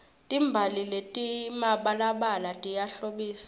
timbali letimabalabala tiyahlobisa